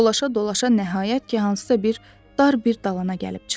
Dolaşa-dolaşa nəhayət ki, hansısa bir dar bir dalana gəlib çıxdı.